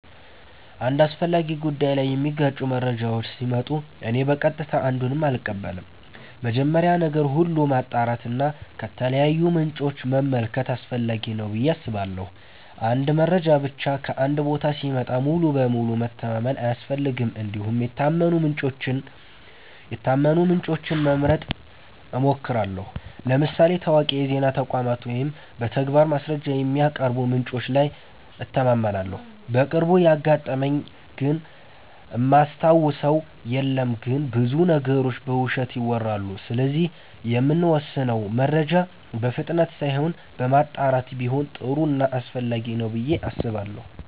አንድ አስፈላጊ ጉዳይ ላይ የሚጋጩ መረጃዎች ሲመጡ እኔ በቀጥታ አንዱን አልቀበልም። መጀመሪያ ነገር ሁሉ ማጣራት እና ከተለያዩ ምንጮች መመልከት አስፈላጊ ነው ብዬ አስባለሁ። አንድ መረጃ ብቻ ከአንድ ቦታ ሲመጣ ሙሉ በሙሉ መተማመን አያስፈልግም እንዲሁም የታመኑ ምንጮችን መምረጥ እሞክራለሁ ለምሳሌ ታዋቂ የዜና ተቋማት ወይም በተግባር ማስረጃ የሚያቀርቡ ምንጮች ላይ እተማመናለሁ። በቅርቡ ያጋጠመኝ ግን እማስታውሰው የለም ግን ብዙ ነገሮች በውሸት ይወራሉ ስለዚህ የምንወስነው መረጃ በፍጥነት ሳይሆን በማጣራት ቢሆን ጥሩ ና አስፈላጊ ነው ብዬ አስባለሁ።